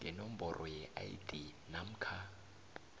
ngenomboro yeid namkha